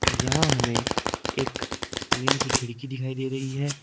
यहां हमें एक ट्रेन की खिड़की दिखाई दे रही है।